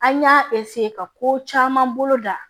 An y'a ka ko caman bolo da